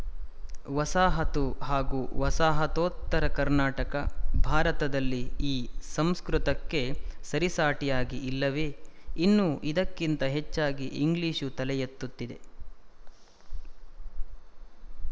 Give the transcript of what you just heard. ವಸಾಹತು ಹಾಗೂ ವಸಾಹತೋತ್ತರ ಕರ್ನಾಟಕ ಭಾರತದಲ್ಲಿ ಈ ಸಂಸ್ಕೃತಕ್ಕೆ ಸರಿಸಾಟಿಯಾಗಿ ಇಲ್ಲವೇ ಇನ್ನೂ ಇದಕ್ಕಿಂತ ಹೆಚ್ಚಾಗಿ ಇಂಗ್ಲಿಶು ತಲೆಯೆತ್ತುತ್ತಿದೆ